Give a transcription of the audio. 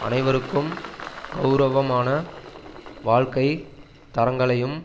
அனைவருக்கும் கெளரவமான வாழ்க்கை தரங்களையும்